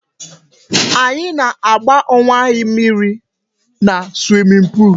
Anyị na-agba owe anyị mmírí na swimming pool